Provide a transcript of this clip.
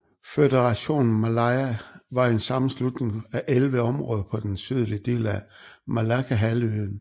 Føderationen Malaya var en sammenslutning af 11 områder på den sydlige del af Malaccahalvøen